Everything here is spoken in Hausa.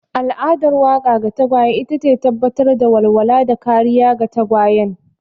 Al'adar wanka ga tagwaye ita ce tabbatar da walwala da kariya ga tagwayen.